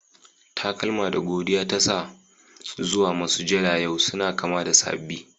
Takalma da godiya ta sa zuwa masujada yau suna kama da saɓi.